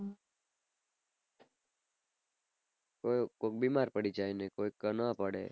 કોઈક બીમાર પડી જાય ને કોઈક ન પડે